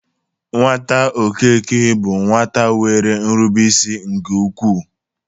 Nwata Okeke bụ nwata nwere nrubeisi nke ukwu.